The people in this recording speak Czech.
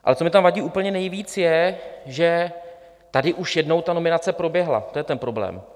Ale co mi tam vadí úplně nejvíc, je, že tady už jednou ta nominace proběhla, to je ten problém.